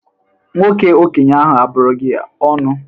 Nwoke okenye ahụ abụrụ gị ọnụ?